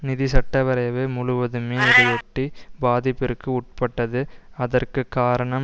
நிதி சட்ட வரைவு முழுவதுமே இதையொட்டி பாதிப்பிற்கு உட்பட்டது அதற்கு காரணம்